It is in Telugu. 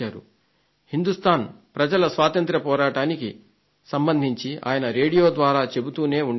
హిందుస్థాన్ ప్రజల స్వాతంత్య్ర పోరాటానికి సంబంధించి ఆయన రేడియో ద్వారా చెబుతూనే ఉండేవారు